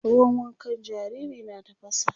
ruwan wankan jariri na tafasa